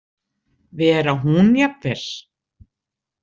Vera hún jafnvel.